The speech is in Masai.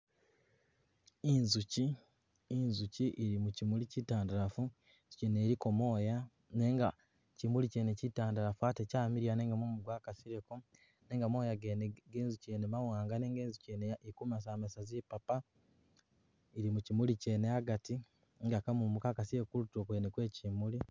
I'nzuchi, i'nzuchi ili muchimuli chitandalafu, i'nzuchi yene iliko moya nenga chimuli chene chitandalafu ate chamiliya nenga mumu kwa kasile ko, nenga moya gene ge inzuchi yene mawaanga, nenga e'nzuchi yene ili kumasamasa zipapa ili muchimuli chene agati nenga kamumuka kasile kutuulo kwene kwechimuli